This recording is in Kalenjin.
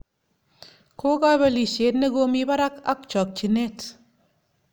Ko kobelisyet nekomi barak ak chokchinet